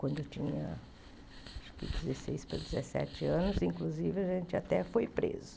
Quando eu tinha dezesseis para dezessete anos, inclusive, a gente já até foi preso.